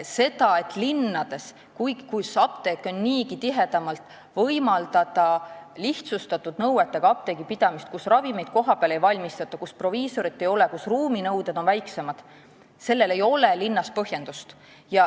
Sellele, et linnades, kus apteeke on niigi tihedamalt, võimaldada lihtsustatud nõuetega apteegipidamist, kus ravimeid kohapeal ei valmistata, proviisorit ei ole ja ruuminõuded on väiksemad, ei ole põhjendust.